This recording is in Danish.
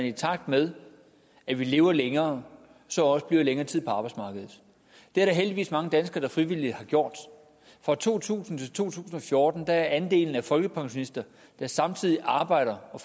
i takt med at vi lever længere så også bliver længere tid på arbejdsmarkedet det er der heldigvis mange danskere der frivilligt har gjort fra to tusind til to tusind og fjorten er andelen af folkepensionister der samtidig arbejder og